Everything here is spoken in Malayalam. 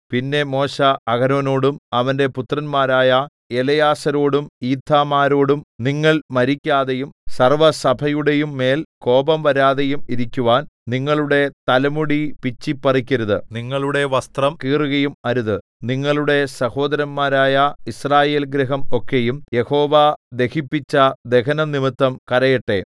പിന്നെ മോശെ അഹരോനോടും അവന്റെ പുത്രന്മാരായ എലെയാസാരോടും ഈഥാമാരോടും നിങ്ങൾ മരിക്കാതെയും സർവ്വസഭയുടെയും മേൽ കോപം വരാതെയും ഇരിക്കുവാൻ നിങ്ങളുടെ തലമുടി പിച്ചിപ്പറിക്കരുത് നിങ്ങളുടെ വസ്ത്രം കീറുകയും അരുത് നിങ്ങളുടെ സഹോദരന്മാരായ യിസ്രായേൽഗൃഹം ഒക്കെയും യഹോവ ദഹിപ്പിച്ച ദഹനംനിമിത്തം കരയട്ടെ